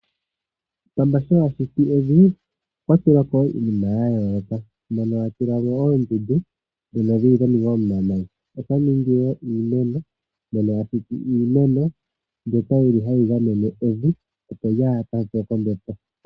Pamba sho a shiti evi okwa tula ko wo iinima ya yooloka moka a tula mo oondundu dhono dhi li dha ningwa momavi olwa ningi wo iimeno mono ashiti iimeno